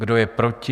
Kdo je proti?